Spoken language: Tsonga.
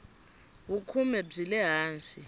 vukhume byi le hansi